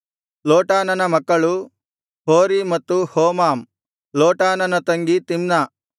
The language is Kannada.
ಲೋಟಾನನ ಮಕ್ಕಳು ಹೋರೀ ಮತ್ತು ಹೋಮಾಮ್ ಲೋಟಾನನ ತಂಗಿ ತಿಮ್ನ